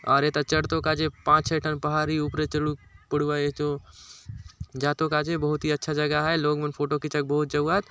और एथा चढ़तो काजे पांच छ: ठन पहाड़ि ऊपरे चढ़ुक पढुआय एचो जातो काजे बहुत ही अच्छा जगह आय लोग मन फोटो खींचाउक बहुत जाऊ आत।